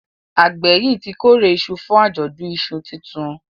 àgbè yí tí kore iṣu fún Ajọdun iṣu títún